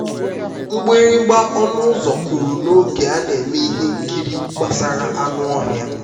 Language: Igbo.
mgbịrịgba ọnụ ụzọ kụrụ n'oge a na-eme ihe nkiri gbasara anụ ọhịa.